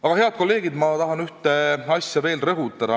Aga, head kolleegid, ma tahan ühte asja veel rõhutada.